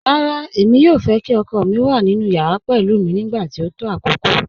Rárá, èmi yòò fẹ́ kí ọkọ mi wà nínu yàrà pẹ̀lú mi nígbàtí o tó àkókò